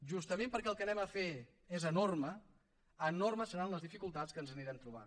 justament perquè el que farem és enorme enormes seran les dificultats que ens anirem trobant